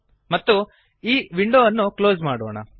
ಮತ್ತು ಈ ವಿಂಡೋ ಅನ್ನು ಕ್ಲೋಸ್ ಮಾಡೋಣ